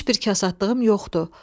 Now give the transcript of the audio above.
Heç bir kasadlığım yoxdur.